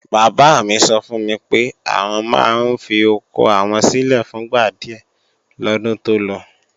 Bàbá mi sọ fún mi pé, àwọn máa ń fi oko àwọn sílè fún gba díè lọ́dún tó lọ